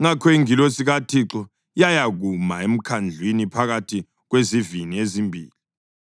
Ngakho ingilosi kaThixo yayakuma emkhandlwini phakathi kwezivini ezimbili,